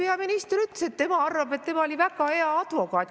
Teil peaminister ütles, et tema arvab, et ta oli väga hea advokaat.